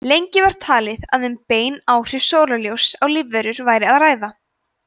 lengi var talið að um bein áhrif sólarljóss á lífverur væri að ræða